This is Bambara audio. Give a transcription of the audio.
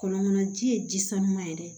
Kɔlɔnkɔnɔna ji ye ji sanuya ye dɛ